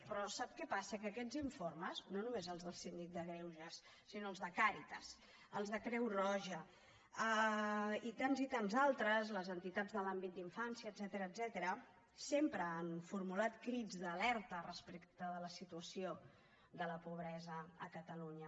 però sap què passa que aquests informes no només els del síndic de greuges sinó els de càritas els de creu roja i tants i tants altres de les entitats de l’àmbit d’infància etcètera sempre han formulat crits d’alerta respecte de la situació de la pobresa a catalunya